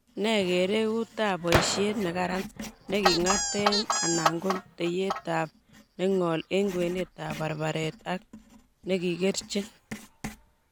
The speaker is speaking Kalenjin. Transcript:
Ne bkerekuutap boisiet negaran ne king'aateen anan ko tekeyyaatap neng'ool eng' kwenetap barbaret ak negigerchiin